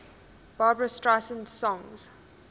barbra streisand songs